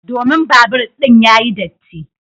Domin babur din yayi datti.